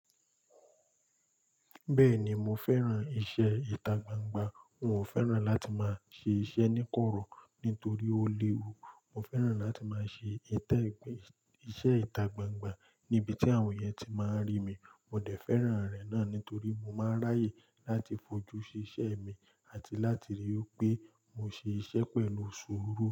Bẹ́ẹ̀ni mo fẹ́ran iṣẹ́ ìtagbangba. N ò fẹ́ran láti máa ṣe iṣẹ́ níkọ̀rọ̀ nítorí ó léwu. Mo fẹ́ran láti máa ṣe ìtẹ́ ìgbẹ́ iṣẹ́ ìtagbangba níbi tí àwọn yẹn ti máa ń rí mi. Mo dẹ̀ fẹ́ran rẹ̀ náà nítorí mo máa ń ráyè láti fojú sí iṣẹ́ mi àti láti rí i pé mo ṣe iṣẹ́ pẹ̀lú sùúrù.